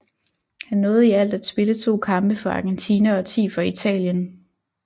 Han nåede i alt at spille to kampe for Argentina og ti for Italien